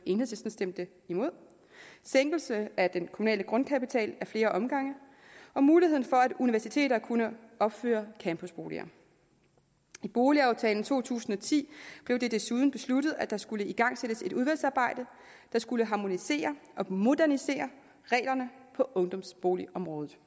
stemte imod sænkelse af den kommunale grundkapital ad flere omgange og muligheden for at universiteter kunne opføre campusboliger i boligaftalen fra to tusind og ti blev det desuden besluttet at der skulle igangsættes et udvalgsarbejde der skulle harmonisere og modernisere reglerne på ungdomsboligområdet